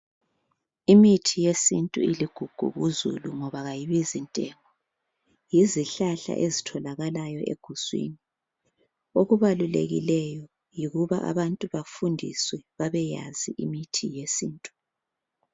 Imithi yesintu iligugu kuzulu ngoba kayibizi ntengo. Yizihlahla ezitholakalayo eguswini. Okubalulekileyo yikuba abantu bafundiswe babeyazi imithi yesintu.